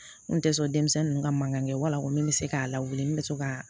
N kun tɛ sɔn denmisɛnnin ninnu ka mankan kɛ wala ko min bɛ se k'a lawuli n bɛ se ka